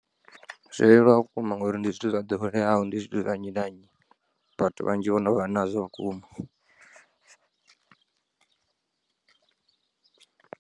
Zwo leluwa vhukuma ngauri ndi zwithu zwa ḓoweleaho ndi zwithu zwa nnyi na nnyi vhathu vhanzhi vhono vha nazwo vhukuma.